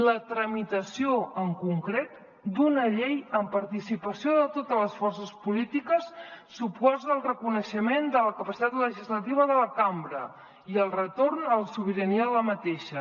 la tramitació en concret d’una llei amb participació de totes les forces polítiques suposa el reconeixement de la capacitat legislativa de la cambra i el retorn a la sobirania de la mateixa